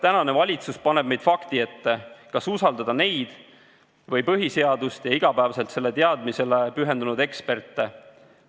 Tänane valitsus paneb meid fakti ette, kas usaldada neid või põhiseadust ja iga päev selle tundmisele pühendunud eksperte.